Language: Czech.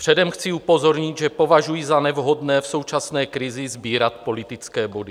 Předem chci upozornit, že považuji za nevhodné v současné krizi sbírat politické body.